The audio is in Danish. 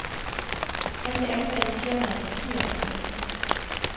Han blev ansat i firmaet for ti år siden.